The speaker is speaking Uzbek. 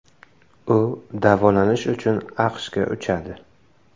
U davolanish uchun AQShga uchadi.